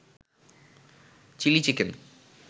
chilli chicken